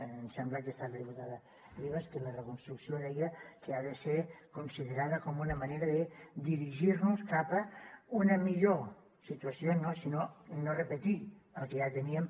em sembla que ha estat la diputada ribas que la reconstrucció deia ha de ser considerada com una manera de dirigir nos cap a una millor situació no sinó no repetir el que ja teníem